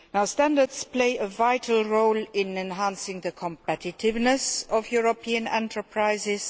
Standards play a vital role in enhancing the competitiveness of European enterprises